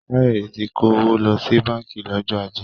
Káyọ̀dé ti kó owó lọ sí báńkì lọ́jọ́ ajé